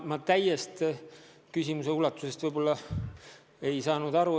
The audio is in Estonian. Ma küsimusest selle täies ulatuses vist ei saanud aru.